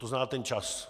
To zná ten čas.